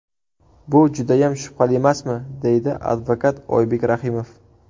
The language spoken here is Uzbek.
Bu judayam shubhalimasmi?”, deydi advokat Oybek Rahimov.